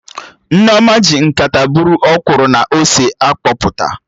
Nneoma ji nkata bụrụ ọkwụrụ na ose a kpọpụta